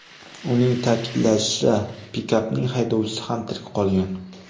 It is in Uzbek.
Uning ta’kidlashicha, pikapning haydovchisi ham tirik qolgan.